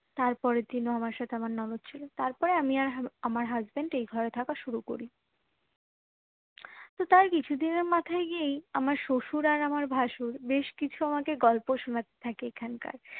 তারপরের দিন ও আমার সাথে আমার ননদ ছিলো তারপরে আমি আর আমার husband এই ঘরে থাকা শুরু করি তার কিছু দিনের মাথায় গিয়েই আমার শশুর আর আমার ভাসুর বেশ কিছু আমাকে গল্প শোনাতে থাকে এখানকার